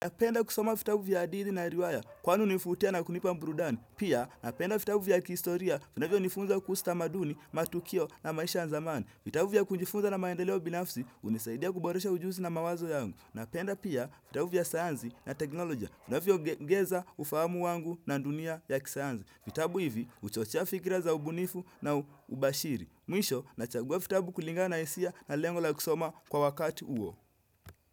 Napenda kusoma vitabu vya hadithi na riwaya, kwani hunivutia na kunipa burudani. Napenda kusoma vitabu vya hadithi na riwaya, kwani hunivutia na kunipa burudani. Pia napenda vitabu vya kihistoria, vinavyo nifunza kuhusu tamaduni, matukio na maisha ya zamani. Napenda pia vitabu vya sayansi na teknoloja, vinavyoniongeza ufahamu wangu na dunia ya kisayansi. Vitabu hivi, uchochea fikira za ubunifu na ubashiri. Mwisho, nachagua vitabu kulinga na hisia na lengo la kusoma kwa wakati.